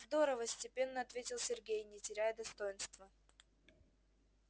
здорово степенно ответил сергей не теряя достоинства